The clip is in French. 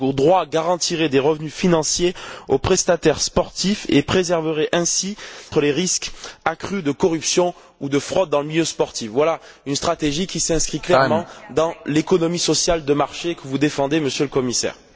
Ce droit garantirait des revenus financiers aux prestataires sportifs et éviterait ainsi les risques accrus de corruption ou de fraude en milieu sportif. Voilà une stratégie qui s'inscrit clairement dans l'économie sociale de marché que vous défendez Monsieur le Commissaire.